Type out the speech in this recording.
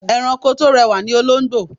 Ẹranko tó rẹwà ni olóńgbò.